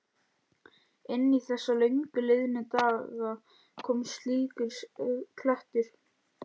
Inn í þessa löngu liðnu daga kom slíkur klettur.